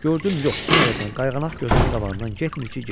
Gördüm yox, sən öləsən, qayğanaq gözümün qabağından getmir ki, getmir.